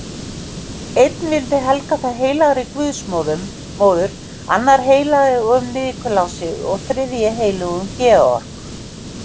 Einn vildi helga það heilagri guðsmóður, annar heilögum Nikulási og þriðji heilögum Georg.